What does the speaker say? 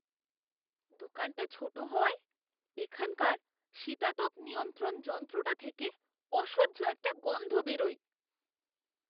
দোকানটা ছোট হওয়ায়, এখানকার শীতাতপ নিয়ন্ত্রণ যন্ত্রটা থেকে অসহ্য একটা গন্ধ বেরোয়।